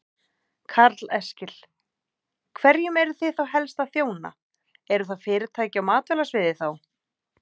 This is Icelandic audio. Karl Eskil: Hverjum eruð þið þá helst að þjóna, eru það fyrirtæki á matvælasviði þá?